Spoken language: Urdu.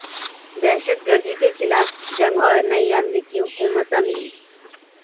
دہشت گردی کے خلاف جنگ اور نئی امریکی حکمت عملی